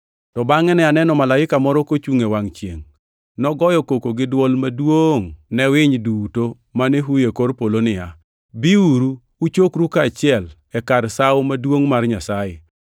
To bangʼe ne aneno malaika moro kochungʼe wangʼ chiengʼ, nogoyo koko gi dwol maduongʼ ne winy duto mane huyo e kor polo niya, “Biuru, uchokru kaachiel e kar sawo maduongʼ mar Nyasaye,